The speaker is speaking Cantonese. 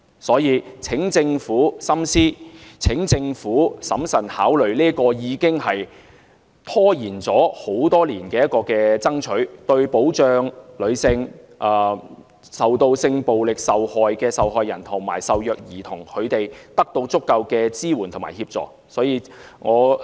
所以，請政府深思、請政府審慎考慮落實這個已經拖延多年的做法，讓受到性暴力的受害人及受虐兒童得到足夠支援和協助。